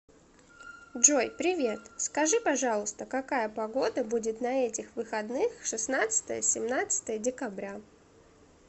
джой привет скажи пожалуйста какая погода будет на этих выходных шестнадцатое семнадцатое декабря